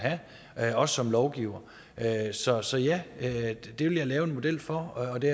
have også som lovgiver så så ja det vil jeg lave en model for og det